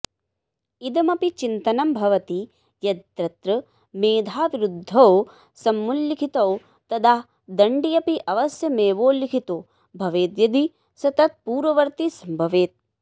इदमपि चिन्तनं भवति यद्यत्र मेधाविरुद्रौ समुल्लिखितौ तदा दण्ड्यपि अवश्यमेवोल्लिखितो भवेद्यदि स तत्पूर्ववर्ती सम्भवेत्